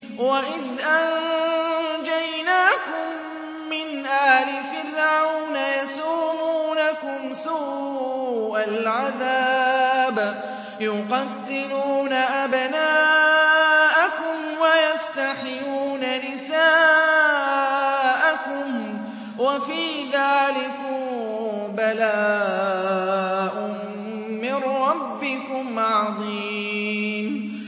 وَإِذْ أَنجَيْنَاكُم مِّنْ آلِ فِرْعَوْنَ يَسُومُونَكُمْ سُوءَ الْعَذَابِ ۖ يُقَتِّلُونَ أَبْنَاءَكُمْ وَيَسْتَحْيُونَ نِسَاءَكُمْ ۚ وَفِي ذَٰلِكُم بَلَاءٌ مِّن رَّبِّكُمْ عَظِيمٌ